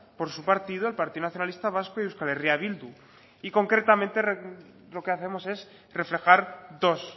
por su partido el partido nacionalista vasco y euskal herria bildu y concretamente lo que hacemos es reflejar dos